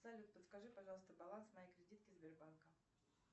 салют подскажи пожалуйста баланс моей кредитки сбербанка